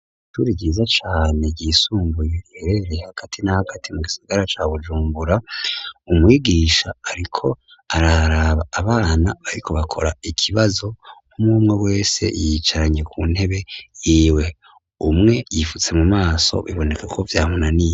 Ishure ryiza cane ryisumbuye riherereye hagati na hagati mu gisagara ca Bujumbura, umwigisha ariko araraba abana bariko bakora ikibazo; umwumwe wese yiyicaranye ku ntebe yiwe. Umwe yifutse mu maso biboneka ko vyamunaniye.